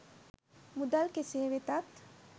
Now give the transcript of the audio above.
මුදල් කෙසේ වෙතත්